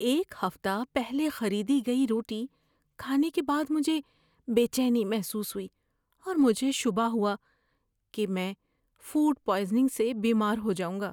ایک ہفتہ پہلے خریدی گئی روٹی کھانے کے بعد مجھے بے چینی محسوس ہوئی اور مجھے شبہ ہوا کہ میں فوڈ پوائزننگ سے بیمار ہو جاؤں گا۔